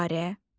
Təyyarə.